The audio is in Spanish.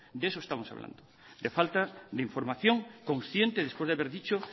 de eso estamos hablando de falta la información consciente después de haber dicho